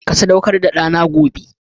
Ka sadaukar da dana gobe